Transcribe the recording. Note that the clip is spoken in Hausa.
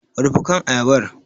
Rufe kan ayabar!